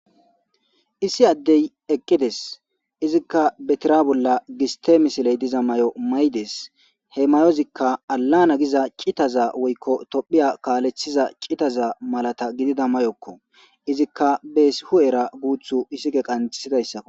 issi addey eqqides izikka betira bolla giste misiley diza mayo maydes he mayozikka alana giza qitaza woykko tophiya kaalethiza qitaza malata gidida mayokko izikka beesi hu7era guuthu isike qantisidayssako